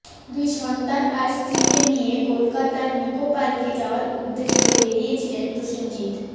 দুই সন্তান আর স্ত্রীকে নিয়ে কলকাতার নিকোপার্কে যাওয়ার উদ্দেশে বেরিয়েছিলেন প্রসেনজিৎ